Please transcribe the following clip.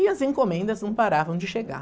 E as encomendas não paravam de chegar.